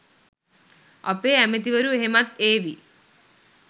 අපේ ඇමතිවරු එහෙමත් ඒවි